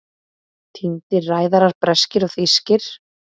Týndir ræðarar breskir og þýskir